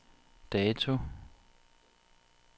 dato